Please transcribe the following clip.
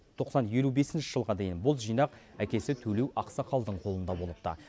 тоқсан елу бесінші жылға дейін бұл жинақ әкесі төлеу ақсақалдың қолында болыпты